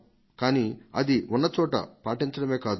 కానీ అది ఉన్న చోట పాటించడమే కాదు